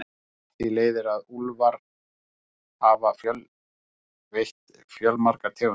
Af því leiðir að úlfar hafa veitt fjölmargar tegundir.